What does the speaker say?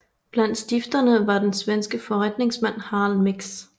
Blandt stifterne var den svenske forretningsmand Harald Mix